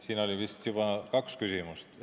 Siin oli vist juba kaks küsimust.